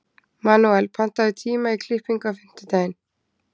Manuel, pantaðu tíma í klippingu á fimmtudaginn.